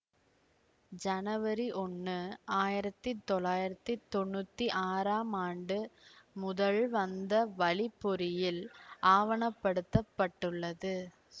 ஜனவரி ஒன்னு ஆயிரத்தி தொள்ளாயிரத்தி தொன்னூத்தி ஆறாம் ஆண்டு முதல் வந்தவழிப் பொறியில் ஆவணப்படுத்தப்பட்டுள்ளது